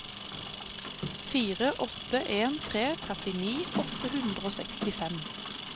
fire åtte en tre trettini åtte hundre og sekstifem